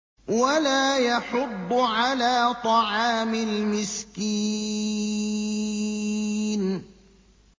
وَلَا يَحُضُّ عَلَىٰ طَعَامِ الْمِسْكِينِ